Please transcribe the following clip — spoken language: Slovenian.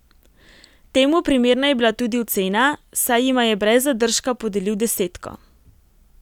Temu primerna je bila tudi ocena, saj jima je brez zadržka podelil desetko.